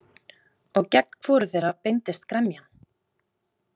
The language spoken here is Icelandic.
Og gegn hvoru þeirra beindist gremjan?